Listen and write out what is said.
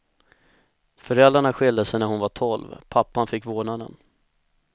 Föräldrarna skilde sig när hon var tolv, pappan fick vårdnaden.